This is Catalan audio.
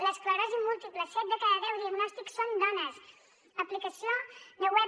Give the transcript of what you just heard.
l’esclerosi múltiple set de cada deu diagnòstics són dones aplicació web